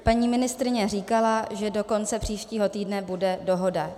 Paní ministryně říkala, že do konce příštího týdne bude dohoda.